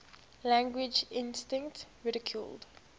language instinct ridiculed